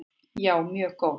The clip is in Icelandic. Já, mjög góð.